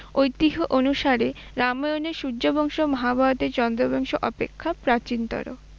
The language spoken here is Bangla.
ঐতিহ্য অনুসারে রামায়ণের সূর্যবংশ মহাভারতের চন্দ্রবংশ অপেক্ষা প্রাচীনতর।